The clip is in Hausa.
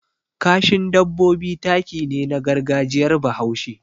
Kashin dabbobi taki ne na gargajiyar Bahaushe.